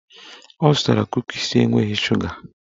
Ọ zụtara kukis enweghị shuga